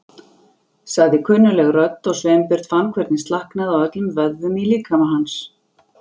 sagði kunnugleg rödd og Sveinbjörn fann hvernig slaknaði á öllum vöðvum í líkama hans.